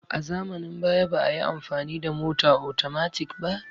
A zamanin baya ba'ayi amfani da mota atomatik ba